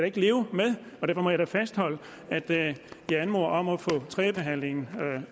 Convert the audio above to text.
ikke leve med og derfor må jeg fastholde at vi anmoder om at få tredjebehandlingen